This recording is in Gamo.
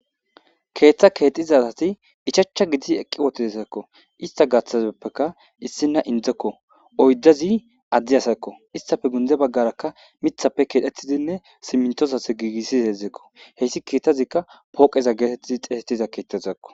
keeththa keexizasati ichachcha gidiz eqqi wotidesakko ista gaththazeppeka issinna indzekko oyddezi addi asakko istafe gunde baggarakka mithappe keedhettidinne simintosase giigissi heedzdzekko heyssi keettazikka pooqeza geetettidi xeesettiza keettazakko